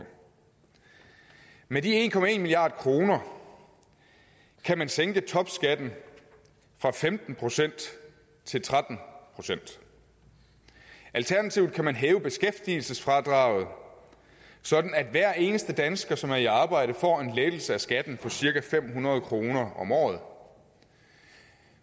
med de en milliard kroner kan man sænke topskatten fra femten procent til tretten procent alternativt kan man hæve beskæftigelsesfradraget sådan at hver eneste dansker som er i arbejde får en lettelse af skatten på cirka fem hundrede kroner om året